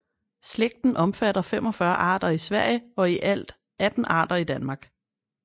Slægten omfatter 45 arter i Sverige og i alt fald 18 arter i Danmark